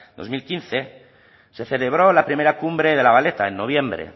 dos mil quince se celebró la primera cumbre de la valeta en noviembre